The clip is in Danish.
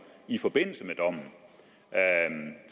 i forbindelse med dommen